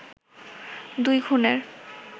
দুই খুনের